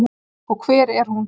Og hver er hún?